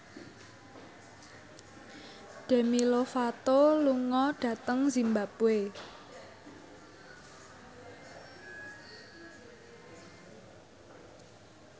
Demi Lovato lunga dhateng zimbabwe